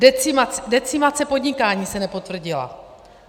Decimace podnikání se nepotvrdila.